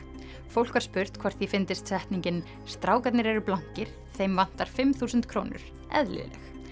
fólk var spurt hvort því fyndist setningin strákarnir eru blankir þeim vantar fimm þúsund krónur eðlileg